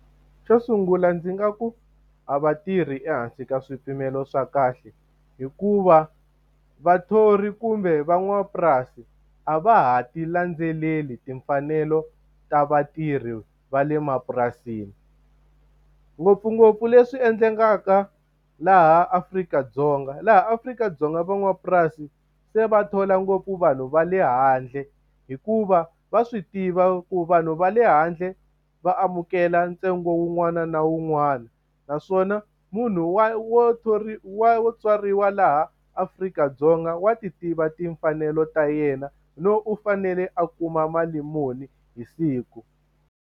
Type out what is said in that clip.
Xo sungula ndzi nga ku a va tirhi ehansi ka swipimelo swa kahle, hikuva vathori kumbe van'wamapurasi a va ha ti landzeleli timfanelo ta vatirhi va le mapurasini. Ngopfungopfu leswi endlekaka laha Afrika-Dzonga. Laha Afrika-Dzonga van'wamapurasi se va thola ngopfu vanhu va le handle, hikuva va swi tiva ku vanhu va le handle va amukela ntsengo wun'wana na wun'wana. Naswona munhu wa wo wo tswariwa laha Afrika-Dzonga wa ti tiva timfanelo ta yena, no u fanele a kuma mali muni hi siku.